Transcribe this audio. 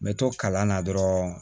N bɛ to kalan na dɔrɔn